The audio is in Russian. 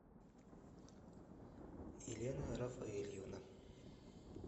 елена рафаэльевна